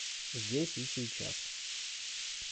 здесь и сейчас